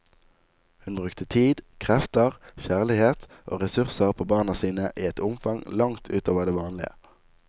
Hun brukte tid, krefter, kjærlighet og ressurser på barna sine i et omfang langt ut over det vanlige.